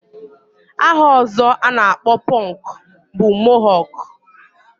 Aha ọzọ a na-akpọ pọnk bụ mohọk